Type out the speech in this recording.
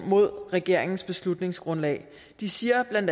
mod regeringens beslutningsgrundlag de siger bla